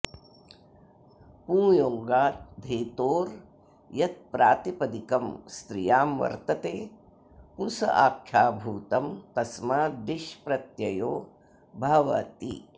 पुंयोगाद् धेतोर् यत् प्रातिपदिकं स्त्रियां वर्तते पुंस आख्याभूतं तस्माद् ङीष् प्रत्ययो भवति